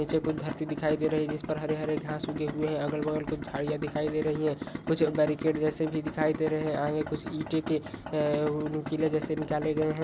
पीछे कुछ धरती दिखाई दे रही है जिस पर हरे हरे घास उगे हुए है अगल बगल कुछ झाड़िया दिखाई दे रही है कुछ बेरीकेट जेसे भी दिखाई दे रहे है आगे कुछ ईंटे के अ नुकीला जेसे निकाले गए है।